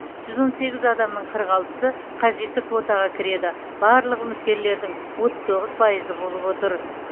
жүз он сегіз адамның қырық алтысы қажетті квотаға кіреді бұл барлық үміткерлердің отыз тоғыз пайызы болып отыр